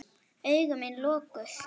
Augu mín lokuð.